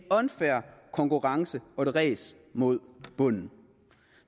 unfair konkurrence og et ræs mod bunden